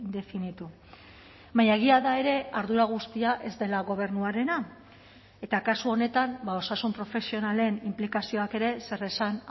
definitu baina egia da ere ardura guztia ez dela gobernuarena eta kasu honetan osasun profesionalen inplikazioak ere zeresan